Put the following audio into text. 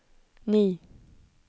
ni